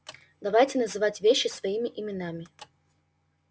давайте называть вещи своими именами